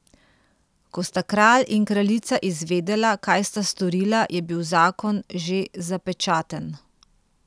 Ko sta kralj in kraljica izvedela, kaj sta storila, je bil zakon že zapečaten.